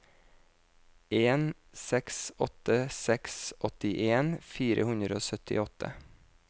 en seks åtte seks åttien fire hundre og syttiåtte